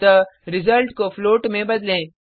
अतः रिजल्ट को फ्लोट में बदलें